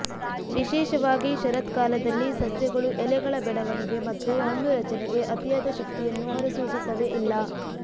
ವಿಶೇಷವಾಗಿ ಶರತ್ಕಾಲದಲ್ಲಿ ಸಸ್ಯಗಳು ಎಲೆಗಳ ಬೆಳವಣಿಗೆ ಮತ್ತು ಹಣ್ಣು ರಚನೆಗೆ ಅತಿಯಾದ ಶಕ್ತಿಯನ್ನು ಹೊರಸೂಸುತ್ತವೆ ಇಲ್ಲ